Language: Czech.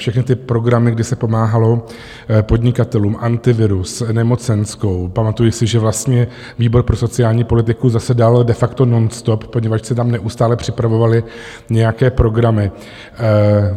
Všechny ty programy, kdy se pomáhalo podnikatelům, Antivirus, nemocenskou, pamatuji si, že vlastně výbor pro sociální politiku zasedal de facto nonstop, poněvadž se tam neustále připravovaly nějaké programy.